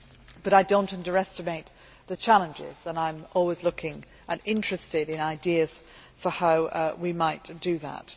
But I do not underestimate the challenges, and I am always looking at and interested in ideas for how we might do that.